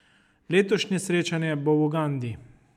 Letošnje srečanje bo v Ugandi.